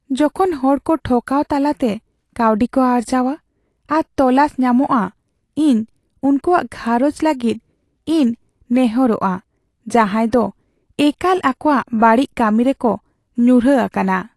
ᱡᱚᱠᱷᱚᱱ ᱦᱚᱲᱠᱚ ᱴᱷᱚᱠᱟᱣ ᱛᱟᱞᱟᱛᱮ ᱠᱟᱹᱣᱰᱤ ᱠᱚ ᱟᱨᱡᱟᱣᱟ ᱟᱨ ᱛᱚᱞᱟᱥ ᱧᱟᱢᱚᱜᱼᱟ, ᱤᱧ ᱩᱱᱠᱩᱣᱟᱜ ᱜᱷᱟᱸᱨᱚᱡᱽ ᱞᱟᱹᱜᱤᱫ ᱤᱧ ᱱᱮᱦᱚᱨᱚᱜᱼᱟ ᱡᱟᱦᱟᱭ ᱫᱚ ᱮᱠᱟᱞ ᱟᱠᱚᱣᱟᱜ ᱵᱟᱹᱲᱤᱡ ᱠᱟᱹᱢᱤᱨᱮᱠᱚ ᱧᱩᱨᱦᱟᱹ ᱟᱠᱟᱱᱟ ᱾